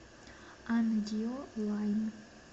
ангио лайн